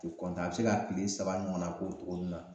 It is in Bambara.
Te kɔntan a be se ka kile saba ɲɔgɔnna k'o togonin na